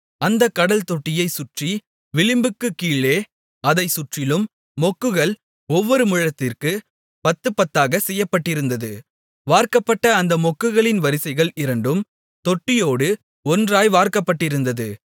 அந்தக் கடல்தொட்டியைச் சுற்றி விளிம்புக்குக் கீழே அதைச் சுற்றிலும் மொக்குகள் ஒவ்வொரு முழத்திற்குப் பத்து பத்தாகச் செய்யப்பட்டிருந்தது வார்க்கப்பட்ட அந்த மொக்குகளின் வரிசைகள் இரண்டும் தொட்டியோடு ஒன்றாய் வார்க்கப்பட்டிருந்தது